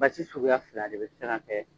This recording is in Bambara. Basi suguya fila de bɛ se ka kɛ